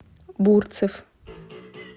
бурцев